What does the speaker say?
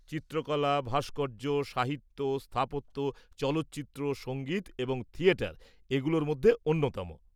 -চিত্রকলা, ভাস্কর্য, সাহিত্য, স্থাপত্য, চলচ্চিত্র, সঙ্গীত এবং থিয়েটার এগুলোর মধ্যে অন্যতম।